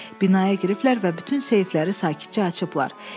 binaya giriblər və bütün seyfləri sakitcə açıblar.